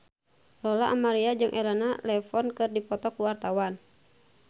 Lola Amaria jeung Elena Levon keur dipoto ku wartawan